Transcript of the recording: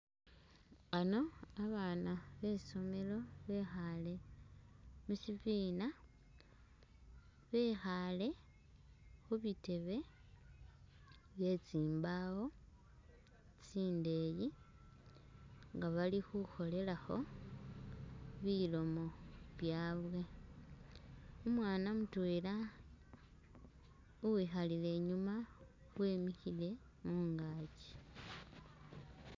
Ano babaana be i'somelo bekhaale mu shibina bikhaale khubitebe bye tsimbaawo tsindeeyi nga bali khukholelakho bilomo byaawe, umwana mutwela uwikhalila inyuuma wemikhile mungaakyi.